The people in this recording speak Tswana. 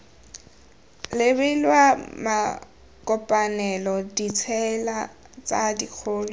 lebilwe makopanelo ditsela tse dikgolo